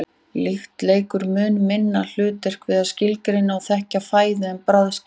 lykt leikur mun minna hlutverk við að skilgreina og þekkja fæðu en bragðskyn